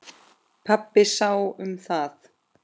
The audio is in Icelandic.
Pabbi sá um það.